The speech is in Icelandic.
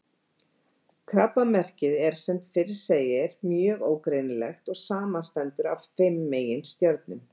Krabbamerkið er sem fyrr segir mjög ógreinilegt og samanstendur af fimm meginstjörnum.